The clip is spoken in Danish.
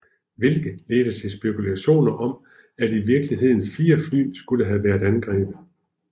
Hvilke ledte til spekulationer om at i virkeligheden fire fly skulle have været angrebet